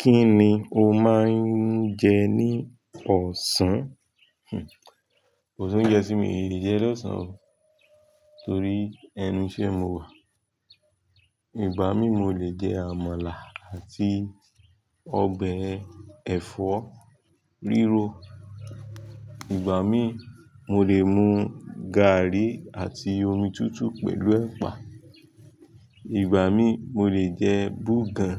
Kí ni o máa ń jẹ ní ọ̀sán? Kò sí oúnjẹ tí mi ò lè jẹ lọ́sàn-án torí ẹnu iṣẹ́ mo wà. Ìgbà mí mo lè jẹ àmàlà àti ọbẹ̀ ẹ̀fọ́ rírọ. Ìgbà mí, mo lè mú gààrí àti omi tútù pẹ̀lú ẹ̀pà. Ìgbà mí, mo lè jẹ bugan